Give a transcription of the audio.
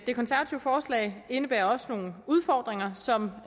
det konservative forslag indebærer også nogle udfordringer som